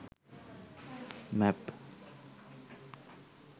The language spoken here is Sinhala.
map